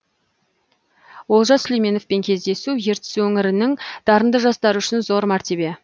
олжас сүлейменовпен кездесу ертіс өңірінің дарынды жастары үшін зор мәртебе